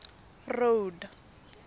road